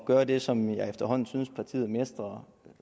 gøre det som jeg efterhånden synes at partiet mestrer